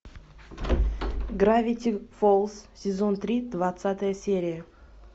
гравити фолз сезон три двадцатая серия